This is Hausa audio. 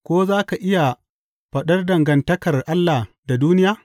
Ko za ka iya faɗar dangantakar Allah da duniya?